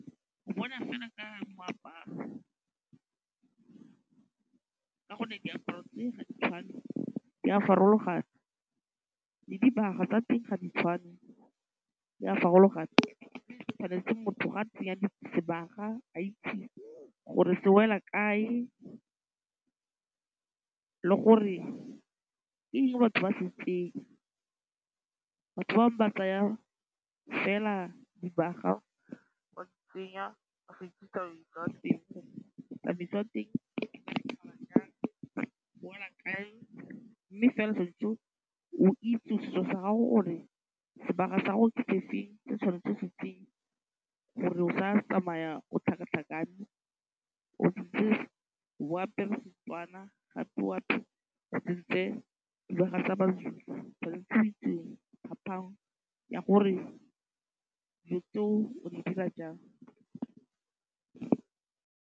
O bona fela ka moaparo ka gonne diaparo tse ga di tshwane di a farologana le dibaga tshwanetse motho ga tsenya sebaka a itse gore se wela kae le gore ke eng batho ba se tsenya. Batho ba bangwe ba tsaya fela dibaga ba di tsenya ba sa itse tsamaiso ya teng gore tsamaiso ya teng e wela kae, mme fela o tshwanetse o itse setso sa gago gore sebaga sa gago ke se feng se tshwanetseng o se tsenye gore o sa tsamaya o tlhakatlhakane o apere seTswana gape o tsentshe dibaga tsa Mazulu, tshwanetse o itse phapang ya gore dilo tseo o di dira jang.